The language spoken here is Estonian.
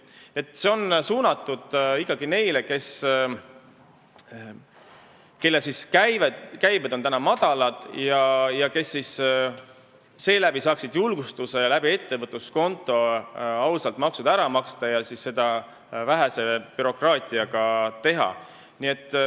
Nii et see on ikkagi suunatud neile, kelle käibed on madalad ja kes saaksid ettevõtluskonto kaudu julgustust maksud ausalt ja vähese bürokraatiaga ära maksta.